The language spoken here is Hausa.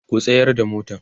ku tsayar da motan!.